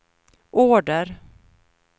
order